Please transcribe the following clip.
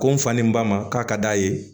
Ko n fa ni n ba ma k'a ka d'a ye